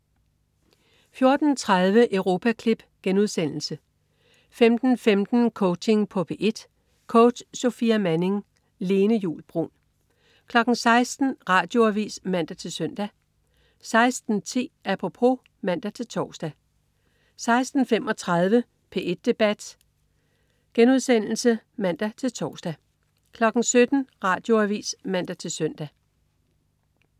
14.30 Europaklip* 15.15 Coaching på P1. Coach: Sofia Manning. Lene Juul Bruun 16.00 Radioavis (man-søn) 16.10 Apropos (man-tors) 16.35 P1 Debat* (man-tors) 17.00 Radioavis (man-søn)